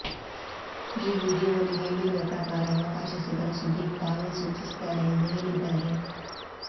ಈ ವೀಡಿಯೋಲಿ ಹೇಳಿರುವ ಪ್ರಕಾರ ಅವಕಾಶ ಸಿಗಲು ಸುದೀಪ್ ತಾವೇ ಸೂಚಿಸಿದ್ದಾರೆ ಎಂದು ಹೇಳಿದ್ದಾರೆ